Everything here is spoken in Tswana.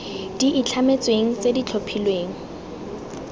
di itlhametsweng tse di tlhophilweng